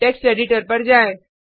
text editor पर जाएँ